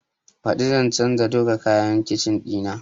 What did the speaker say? Baɗi zan canza duka kayan kicin ɗina